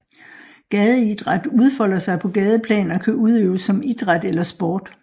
Gadeidræt udfolder sig på gadeplan og kan udøves som idræt eller sport